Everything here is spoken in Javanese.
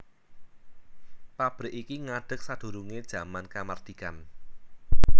Pabrik iki ngadeg sadurungé jaman kamardikan